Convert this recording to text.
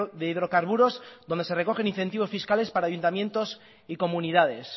de hidrocarburos donde se recogen incentivos fiscales para ayuntamientos y comunidades